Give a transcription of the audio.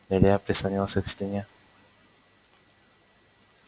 илья прислонился к стене